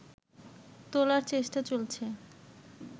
তোলার চেষ্টা চলছে